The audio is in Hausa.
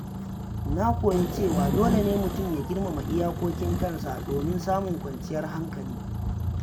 Na koya cewa dole ne mutum ya girmama iyakokin kansa domin samun kwanciyar hankali.